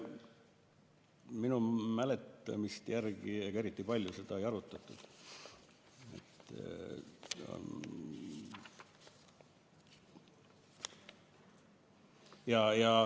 Minu mäletamist järgi seda eriti palju ei arutatud.